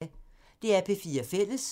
DR P4 Fælles